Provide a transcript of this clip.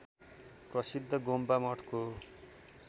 प्रसिद्ध गोम्पा मठको